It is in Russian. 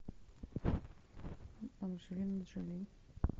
анжелина джоли